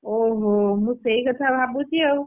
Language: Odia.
ଓହୋ ମୁଁ ସେଇ କଥା ଭାବୁଛି ଆଉ ମୁଁ ସେୟା,